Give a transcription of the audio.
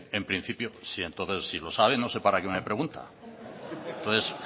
en principio entonces si lo sabe no sé para qué me pregunta entonces